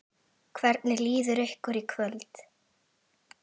Hvernig líður ykkur í kvöld?